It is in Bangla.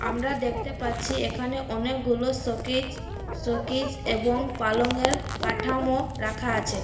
আমরা দেখতে পাচ্ছি এখানে অনেকগুলো শোকেজ শোকেজ এবং পালঙের কাঠামো রাখা আছে।